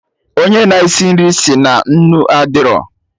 Onye na-esi nri si na nnu adịrọ